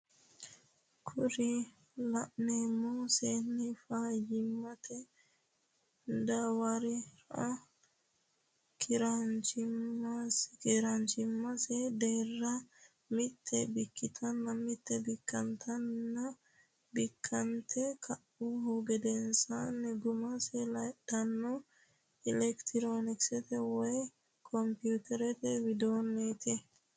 kuri la'neemo seenni fayyimate dhaawira keranchimmansa deera mitte bikkitanna mite bikkantanna bikkante ka'uhu gedensaani gumase laydhannohu elektiroonikisete woye compuuterete widooniiti.